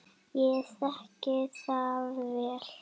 Ég þekki það vel.